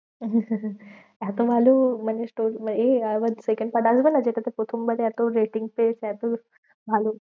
এত ভালো মানে এ মানে আবার second part আসবেনা? যেটাতে প্রথম বার এত ratings পেয়েছে এত ভালো।